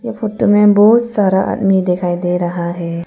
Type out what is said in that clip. Photo में बहुत सारा आदमी दिखाई दे रहा है।